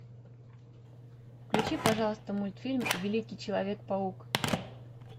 включи пожалуйста мультфильм великий человек паук